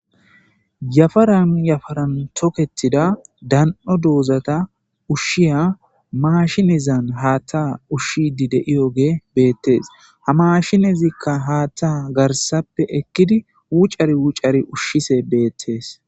Yafaran yafaran toketida dano dozata ushiya mashinedazan haththa ushiya de'iyoge betees. Ha mashinetika haththa garssappe ekiya ekidi wucari wucari ushiya beettes.